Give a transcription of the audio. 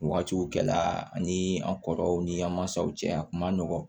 Wagatiw kɛ la ani an kɔrɔw ni an mansaw cɛ a kun ma nɔgɔn